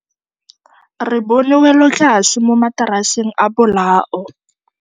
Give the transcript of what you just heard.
Re bone wêlôtlasê mo mataraseng a bolaô.